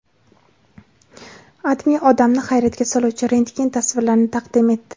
AdMe odamni hayratga soluvchi rentgen tasvirlarini taqdim etdi .